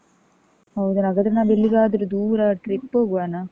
ಹೌದನ? ಹಾಗಾದ್ರೆ ನಾವೆಲಿಗಾದ್ರೂ ದೂರ trip ಹೋಗುವನ?